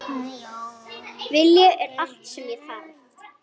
Vilji er allt sem þarf